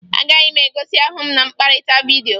Agaghị m egosi ahụ m na mkpakọrịta vidyo